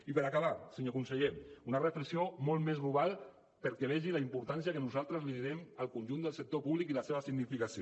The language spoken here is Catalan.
i per acabar senyor conseller una reflexió molt més global perquè vegi la importància que nosaltres li donem al conjunt del sector públic i la seva significació